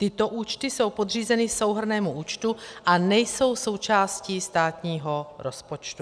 Tyto účty jsou podřízeny souhrnnému účtu a nejsou součástí státního rozpočtu.